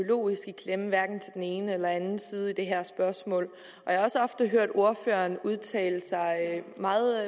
ideologisk i klemme hverken til den ene eller anden side i det her spørgsmål og jeg har også ofte hørt ordføreren udtale sig meget